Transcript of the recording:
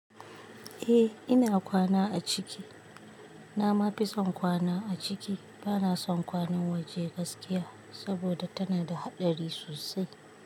Eh ina kwana a ciki. Na ma fi son kwana a ciki. Bana son kwanan waje gaskiya saboda tana da haɗari sosai.